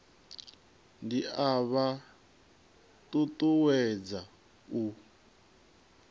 ndi a vha ṱuṱuwedza u